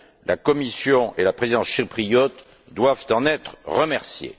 La Commission et la Présidence chypriote doivent en être remerciées.